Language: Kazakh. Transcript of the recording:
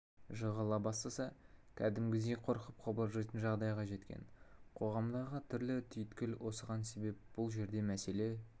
жығыла бастаса кәдімгідей қорқып қобалжитын жағдайға жеткен қоғамдағы түрлі түйткіл осыған себеп бұл жерде мәселе